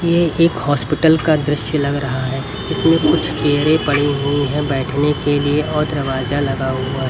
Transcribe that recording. यह एक हॉस्पिटल का दृश्य लग रहा है। इसमें कुछ चेयर भी पड़े हुए हैं बैठने के लिए और दरवाजा लगा हुआ है।